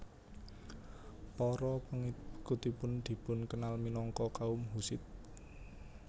Para pengikutipun dipunkenal minangka kaum Hussit